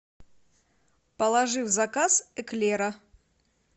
положи в заказ эклера